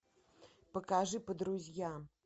покажи по друзьям